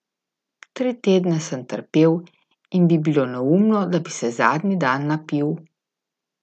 Tri tedne sem trpel in bi bilo neumno, da bi se zadnji dan napil.